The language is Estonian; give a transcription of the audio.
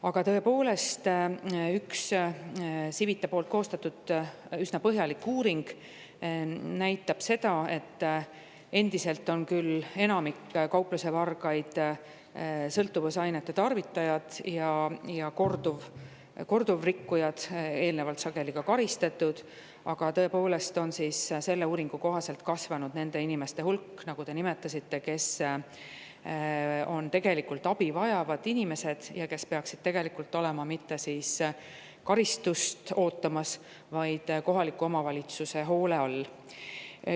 Aga tõepoolest, üks Civitta koostatud üsna põhjalik uuring näitab seda, et endiselt on küll enamik kauplusevargaid sõltuvusainete tarvitajad ja korduvrikkujad, sageli ka eelnevalt karistatud, kuid on kasvanud nende inimeste hulk, nagu te nimetasite, kes on tegelikult abi vajavad inimesed ja kes peaksid mitte karistust ootama, vaid olema kohaliku omavalitsuse hoole all.